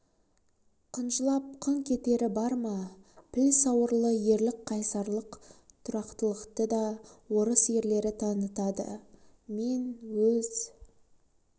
қынжылап қыңқ етері бар ма піл сауырлы ерлік қайсарлық тұрақтылықты да орыс ерлері танытады мен өз